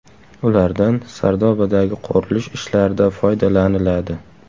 Ulardan Sardobadagi qurilish ishlarida foydalaniladi.